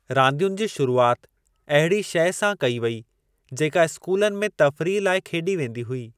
रांदियुनि जी शुरूआति अहिड़ी शइ सां कई वई जेका स्कूलनि में तफ़रीह लाइ खेॾी वेंदी हुई।